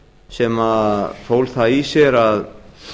sem fól það í sér að